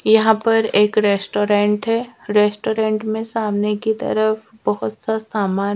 यहां पर एक रेस्टोरेंट है रेस्टोरेंट में सामने की तरफ बहुत सा सामान--